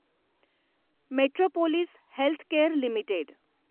metropolis Healthcare limited